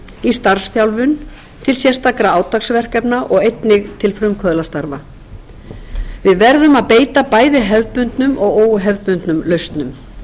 í starfsþjálfun til sérstakra átaksverkefna og einnig til frumkvöðlastarfa við verðum að beita bæði hefðbundnum og óhefðbundnum lausnum mennt er máttur og mikilvægt að fólk án